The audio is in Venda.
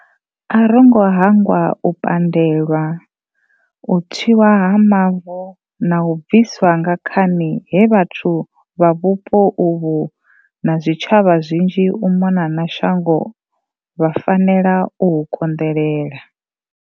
A rongo hangwa u pandelwa, u tswiwa ha mavu na u bviswa nga khani he vhathu vha vhupo uvhu na zwi tshavha zwinzhi u mona na shango vha fanela u hu konḓelela.